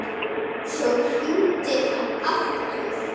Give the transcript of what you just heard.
Svo hringdi hann aftur.